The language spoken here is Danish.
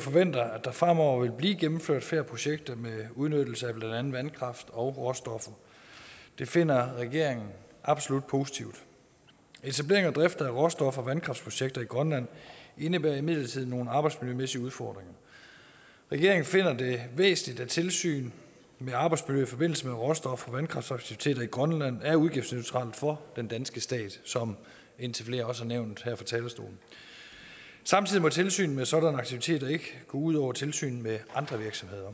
forventer at der fremover vil blive gennemført flere projekter med udnyttelse af blandt andet vandkraft og råstoffer det finder regeringen absolut positivt etablering og drift af råstof og vandkraftsprojekter i grønland indebærer imidlertid nogle arbejdsmiljømæssige udfordringer regeringen finder det væsentligt at tilsynet med arbejdsmiljøet i forbindelse med råstof og vandkraftsaktiviteter i grønland er udgiftsneutralt for den danske stat som indtil flere også har nævnt her fra talerstolen samtidig må tilsynet med sådanne aktiviteter ikke gå ud over tilsynet med andre virksomheder